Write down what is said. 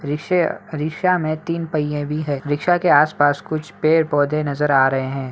रिक्शे रिक्शा में तीन पहिए भी है रिक्शा के आसपास कुछ पेड़-पौधे नजर आ रहें हैं।